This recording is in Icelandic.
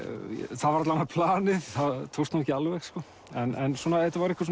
það var alla vega planið það tókst nú ekki alveg sko en svona þetta var eitthvað